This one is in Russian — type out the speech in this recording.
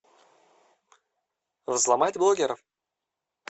взломать блогера